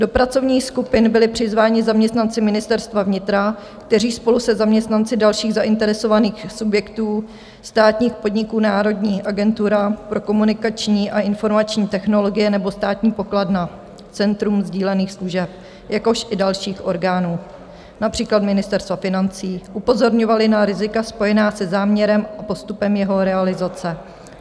Do pracovních skupin byli přizváni zaměstnanci Ministerstva vnitra, kteří spolu se zaměstnanci dalších zainteresovaných subjektů, státních podniků - Národní agentura pro komunikační a informační technologie nebo Státní pokladna Centrum sdílených služeb, jakož i dalších orgánů, například Ministerstva financí - upozorňovali na rizika spojená se záměrem a postupem jeho realizace.